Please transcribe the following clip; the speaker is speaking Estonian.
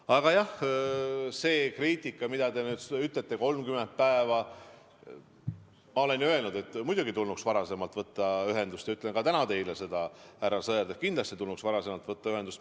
Aga jah, see kriitika, mida te nüüd ütlete, et 30 päeva, siis ma olen ju öelnud, et muidugi tulnuks varem võtta ühendust, ja ütlen ka täna teile seda, härra Sõerd, et kindlasti tulnuks võtta varem ühendust.